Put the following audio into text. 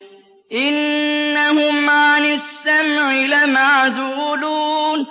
إِنَّهُمْ عَنِ السَّمْعِ لَمَعْزُولُونَ